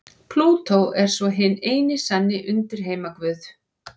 Plútó er svo hinn eini sanni undirheimaguð.